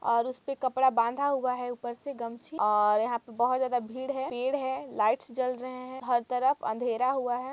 और उसपे कपड़ा बांधा हुआ है ऊपर से गमछी है और यहा पे बोहोत जादा भीड़ है पेड़ है लाइट है जल रहे हैं हर तरफ अंधेरा हुआ है।